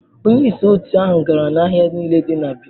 Onye isi otu ahụ gara n'ahịa niile dị na Benin.